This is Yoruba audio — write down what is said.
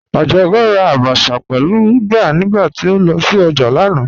Ajọkẹ́ rà àbàchà pẹ̀lú ùgbà nígbàtí o lọ sí ojá lánà.